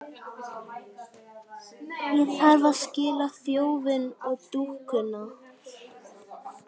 Ég þarf að aðskilja þjófinn og dúkkuna.